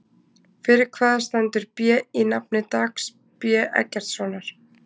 Fyrir hvað stendur B í nafni Dags B Eggertssonar?